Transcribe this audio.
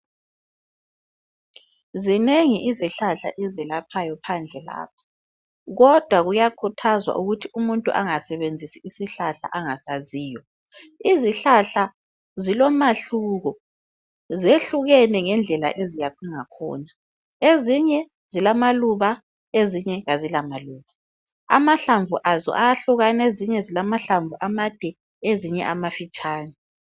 Zinengi izihlahla ezelaphayo phandle lapha kodwa kuyakhuthazwa ukuthi umuntu angasebenzisi isihlahla angasaziyo. Izihlahla zilomahluko zehlukene ngendlela eziyakhiwe ngakhona. Ezinye zilamaluba ezinye azilamaluba. Amahlamvu azo ayahlulana, ezinye zilamahlamvu amade ezinye amafitshane